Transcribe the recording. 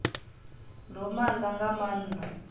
ndo ma ḽa nga maanḓa